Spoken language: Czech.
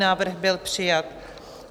Návrh byl přijat.